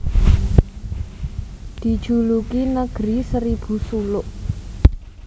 Dijuluki Negeri Seribu Suluk